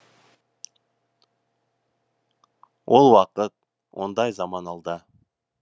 ол уақыт ондай заман алда